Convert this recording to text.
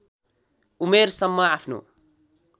उमेर सम्म आफ्नो